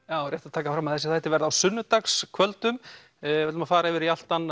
já rétt að taka það fram að þessir þættir verða á sunnudagskvöldum við ætlum að fara yfir í allt annað